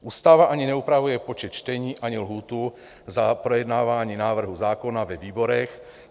Ústava ani neupravuje počet čtení, ani lhůtu na projednávání návrhu zákona ve výborech.